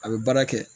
A bɛ baara kɛ